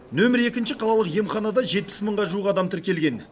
нөмірі екінші қалалық емханада жетпіс мыңға жуық адам тіркелген